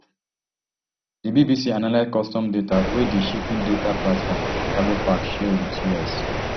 di bbc analyse customs data wey di shipping data platform cargofax share wit us